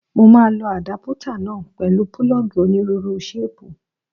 Mo máa lo àdápútà náà pẹ̀lú púlọ́ọ̀gì onírúurú ṣéìpù